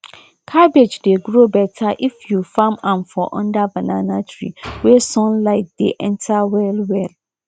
cabbage dey grow better if you farm am for under banana tree wey sun light dey enter well well